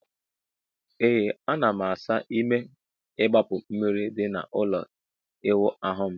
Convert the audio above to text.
Ee ana m asa ime igbapu mmiri di na ụlọ ịwụ ahu m